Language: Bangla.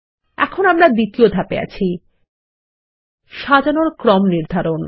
এখন আমরা দ্বিতীয় ধাপে আছি সাজানোর ক্রম নির্ধারণ